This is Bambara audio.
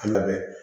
Kuma bɛɛ